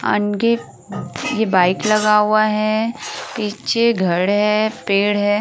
अनगिप ये बाइक लगा हुआ है। पीछे घड़ है। पेड़ है।